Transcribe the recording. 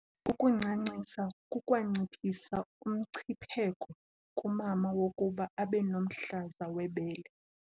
Ukuncancisa kukwanciphisa umncipheko kumama wokuba abe nomhlaza webele.